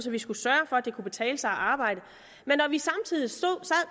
vi skulle sørge for at det kunne betale sig at arbejde